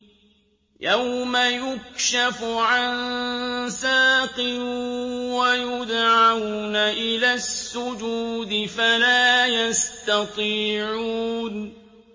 يَوْمَ يُكْشَفُ عَن سَاقٍ وَيُدْعَوْنَ إِلَى السُّجُودِ فَلَا يَسْتَطِيعُونَ